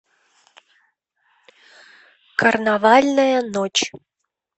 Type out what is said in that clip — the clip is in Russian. карнавальная ночь